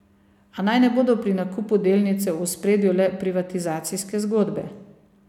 A naj ne bodo pri nakupu delnice v ospredju le privatizacijske zgodbe.